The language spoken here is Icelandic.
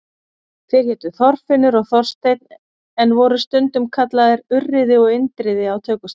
Þeir hétu Þorfinnur og Þorsteinn en voru stundum kallaðir Urriði og Indriði á tökustað.